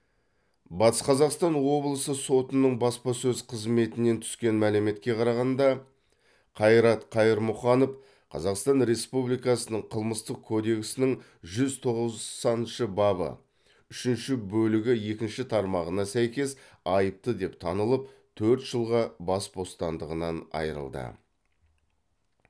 батыс қазақстан облысы сотының баспасөз қызметінен түскен мәліметке қарағанда қайрат қайырмұханов қазақстан республикасы қылмыстық кодексінің жүз тоқсаныншы бабы үшінші бөлігі екінші тармағына сәйкес айыпты деп танылып төрт жылға бас бостандығынан айырылды